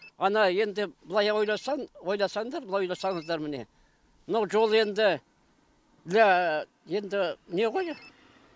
ана енді былай ойласаң ойласаңдар былай ойласаңыздар міне мынау жол енді для енді не ғой